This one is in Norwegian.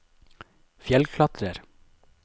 fjellklatrer